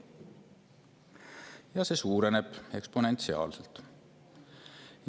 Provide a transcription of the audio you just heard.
Ja see suureneb eksponentsiaalselt.